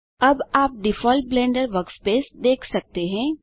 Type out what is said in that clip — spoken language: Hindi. अब आप डिफ़ॉल्ट ब्लेंडर वर्कस्पेस देख सकते हैं